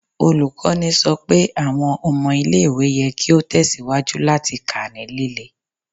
Olukọni sọ pe awọn ọmọ ile-iwe yẹ ki o tẹsiwaju lati ka ni lile